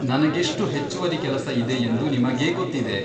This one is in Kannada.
ನನಗೆಷ್ಟು ಹೆಚ್ಚುವರಿ ಕೆಲಸ ಇದೆ ಎಂದು ನಿಮಗೇ ಗೊತ್ತಿದೆ.